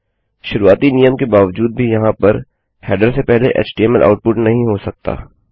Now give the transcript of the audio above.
शुरुआती नियम के बावजूद भी यहाँ पर हेडर से पहले एचटीएमएल आउटपुट नहीं हो सकता